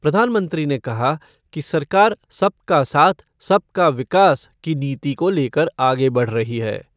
प्रधानमंत्री ने कहा कि सरकार सबका साथ सबका विकास की नीति को लेकर आगे बढ़ रही है।